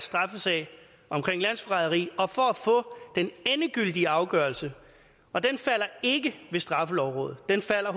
straffesag om landsforræderi og for at få den endegyldige afgørelse og den falder ikke i straffelovrådet den falder